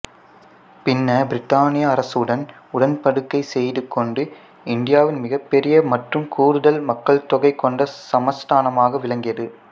பின்னர் பிரித்தானிய அரசுடன் உடன்படிக்கை செய்துகொண்டு இந்தியாவின் மிகப் பெரிய மற்றும் கூடுதல் மக்கள்தொகை கொண்ட சமஸ்தானமாக விளங்கியது